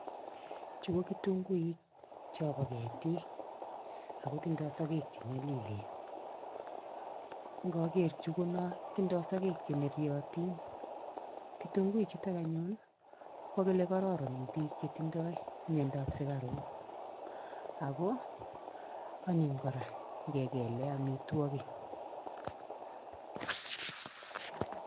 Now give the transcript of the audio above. Chu ko kitunguuk chobo ketik ako tindoi sokek cho nyolilen. Ngakeer chu kotindoi sokek che neryotin, kitunguik chuto anyun kokakile kararan eng che tindoi miandoab sukaruk ako anyiny kora ngekele amitwokik.